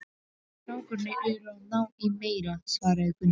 Strákarnir eru að ná í meira, svaraði Gunni.